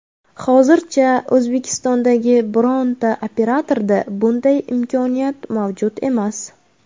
Hozircha O‘zbekistondagi bironta operatorda bunday imkoniyat mavjud emas.